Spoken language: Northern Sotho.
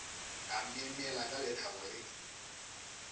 a myemyela ka lethabo le